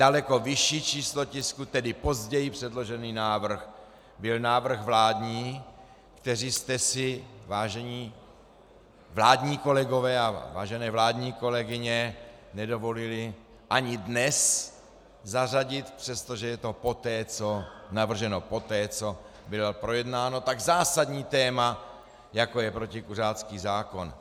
Daleko vyšší číslo tisku, tedy později předložený návrh, byl návrh vládní, který jste si, vážení vládní kolegové a vážené vládní kolegyně, nedovolili ani dnes zařadit, přestože je to navrženo poté, co bylo projednáno tak zásadní téma, jako je protikuřácký zákon.